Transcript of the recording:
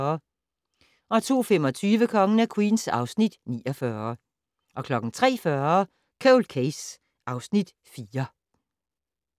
02:25: Kongen af Queens (Afs. 49) 03:40: Cold Case (Afs. 4)